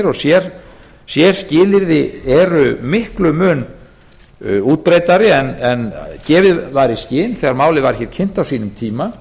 og sérskilyrði eru miklum mun útbreiddari en gefið var í skyn þegar málið var hér kynnt á sínum tíma